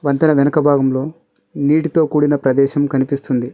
వంతెన వెనుక భాగంలో నీటితో కూడిన ప్రదేశం కనిపిస్తుంది.